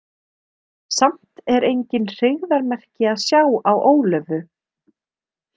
Samt er engin hryggðarmerki að sjá á Ólöfu.